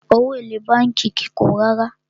Owó èlé bánkì kìí pọ̀ rárá.